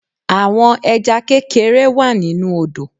Àwọn Ẹja kékeré wá nínu odò